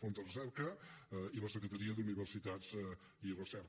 fons de recerca i la secretaria d’universitats i recerca